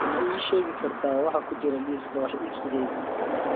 ma ii sheegi kartaa waxa ku jira liiska wax iibsigayga